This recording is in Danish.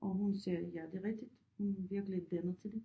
Og hun sagde ja det er rigtigt hun virkelig dannet til det